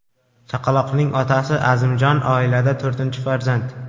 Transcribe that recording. Chaqaloqning otasi Azimjon oilada to‘rtinchi farzand.